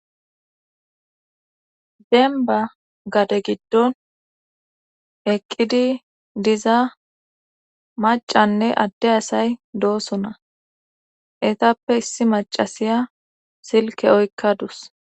zemba gade giddon eqqidi diza macanne adde asay doosona etappe issi macasiya silke oykka dus